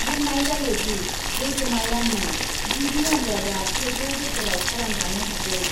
बुंनाय जायोदि, लैथोमायाननि गिबि आन्जादआ फैगौ बोसोराव खालामजानो हागौ।